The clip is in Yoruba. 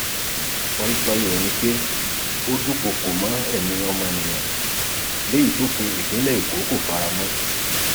paríparí rẹ sì ni pé ó dúnkookò mọ ẹmí ọmọnìyàn lèyí tófin ìpínlẹ èkó kò fara mọ